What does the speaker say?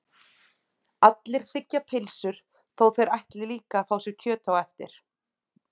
Allir þiggja pylsu þó að þeir ætli líka að fá kjöt á eftir.